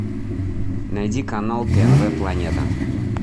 найди канал тнв планета